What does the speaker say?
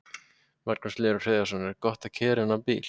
Magnús Hlynur Hreiðarsson: Er gott að keyra þennan bíl?